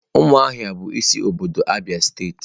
Umuahia bu isi obodo Abia state.